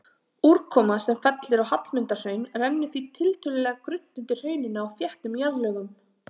Úrkoma sem fellur á Hallmundarhraun rennur því tiltölulega grunnt undir hrauninu á þéttum jarðlögum.